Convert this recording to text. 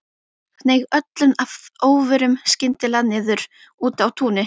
Hneig öllum að óvörum skyndilega niður úti á túni.